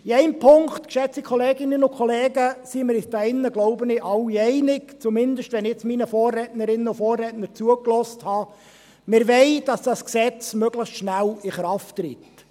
In einem Punkt, geschätzte Kolleginnen und Kollegen, sind wir uns hier drin wohl alle einig – zumindest, wenn ich jetzt meinen Vorrednerinnen und Vorrednern zugehört habe: Wir wollen, dass dieses Gesetz möglichst schnell in Kraft tritt.